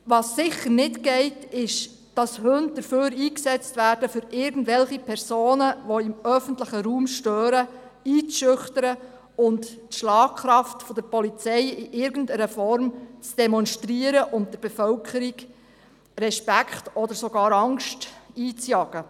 Ganz sicher dürfen Hunde nicht dafür eingesetzt werden, um irgendwelche Personen, die im öffentlichen Raum stören, einzuschüchtern, in irgendwelcher Form die Schlagkraft der Polizei zu demonstrieren oder der Bevölkerung Respekt oder sogar Angst einzujagen.